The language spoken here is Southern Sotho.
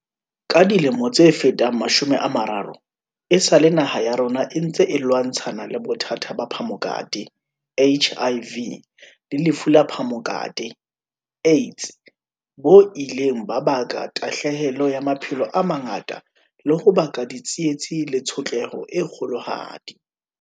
Ka dilemo tse fetang mashome a mararo, esale naha ya rona e ntse e lwantshana le bothata ba phamokate, HIV, le lefu la phamokate, AIDS, bo ileng ba baka tahlahelo ya maphelo a mangata le ho baka ditsietsi le tshotleho e kgolohadi.